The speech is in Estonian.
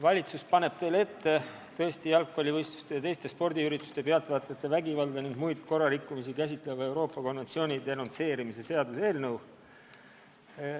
Valitsus paneb teile tõesti ette jalgpallivõistluste ja teiste spordiürituste pealtvaatajate vägivalda ning muid korrarikkumisi käsitleva Euroopa konventsiooni denonsseerimise seaduse eelnõu.